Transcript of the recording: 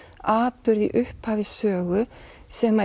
atburð í upphafi sögu sem